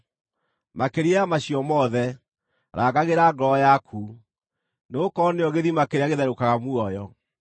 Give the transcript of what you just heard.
Makĩria ya macio mothe, rangagĩra ngoro yaku, nĩgũkorwo nĩyo gĩthima kĩrĩa gĩtherũkaga muoyo.